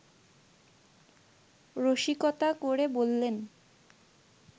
রসিকতা করে বললেন